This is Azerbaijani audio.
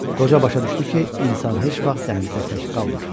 Qoca başa düşdü ki, insan heç vaxt dənizdə tək qalmır.